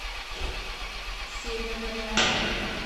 северная